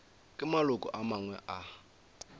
ke maloko a mangwe a